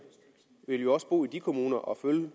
vil jo også bo i de kommuner og følge